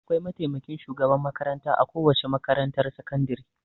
Akwai mataimakin shugaban makaranta a kowace makarantar sakandire.